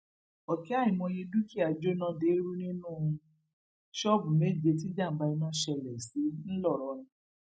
ọkẹ àìmọye dúkìá jóná deérú nínú ṣọọbù méje tíjàmbá iná ṣẹlẹ sí ńlọrọrìn